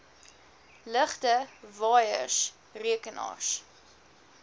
ligte waaiers rekenaars